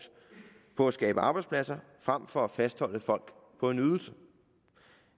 på at skabe arbejdspladser frem for at fastholde folk på en ydelse